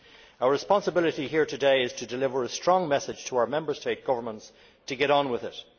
Our responsibility here today is to deliver a strong message to our Member State governments to get on with it.